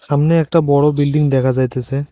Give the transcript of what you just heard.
সামনে একটা বড় বিল্ডিং দেখা যাইতেছে।